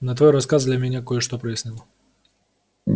но твой рассказ для меня кое-что прояснил